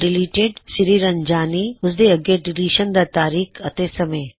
deleted Sriranjani ਓਸਦੇ ਅੱਗੇ deletion ਦਾ ਤਾਰੀਕ ਅਤੇ ਸਮੇ